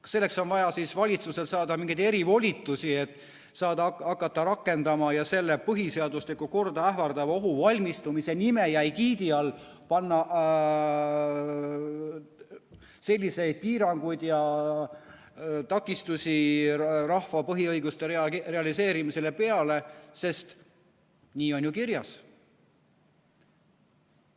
Kas selleks on vaja valitsusel saada mingeid erivolitusi, et hakata rakendama ja põhiseaduslikku korda ähvardavaks ohuks valmistumise nime ja egiidi all panna selliseid piiranguid ja takistusi rahva põhiõiguste realiseerimisele peale, sest nii on ju kirjas?